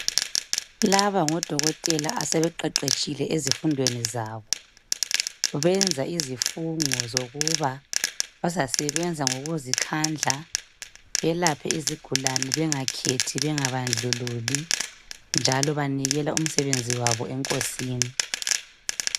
Laba ngodokotela asebeqeqetshile ezifundweni zabo benza izifungo zokuba bazasebenza ngokuzikhandla belaphe izigulani bengakhethi bengabandlululi njalo banikela umsebenzi wabo eNkosini.